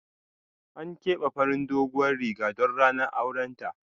An kebe farin doguwan Riga don ranar auren ta.